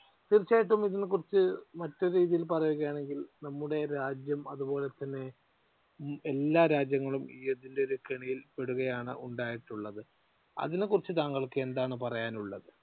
തീർച്ചയായിട്ടും ഇതിനെക്കുറിച്ച് മറ്റൊരു രീതിയിൽ പറയുകയാണെങ്കിൽ നമ്മുടെ രാജ്യം അതുപോലെതന്നെ എല്ലാ രാജ്യങ്ങളും ഇതിന്റെ കെണിയിൽ പെടുകയാണ് ഉണ്ടായിട്ടുള്ളത്. അതിനെക്കുറിച്ച് താങ്കൾക്ക് എന്താണ് പറയാനുള്ളത്?